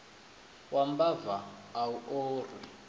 wa mbava a u orwi